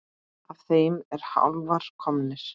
Af þeim eru álfar komnir.